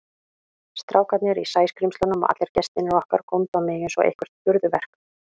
Strákarnir í Sæskrímslunum og allir gestirnir okkar góndu á mig einsog eitthvert furðuverk.